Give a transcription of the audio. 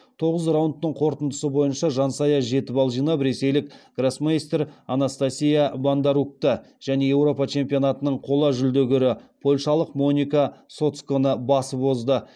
тоғыз раундтың қорытындысы бойынша жансая жеті балл жинап ресейлік гроссмейстер анастасия боднарукті және еуропа чемпионатының қола жүлдегері польшалық моника соцконы басып озды